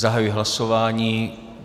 Zahajuji hlasování.